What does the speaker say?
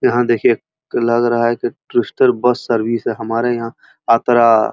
यहाँ देखिए लग रहा है की क्रिस्टल बस सर्विस है। हमारे यहाँ आत--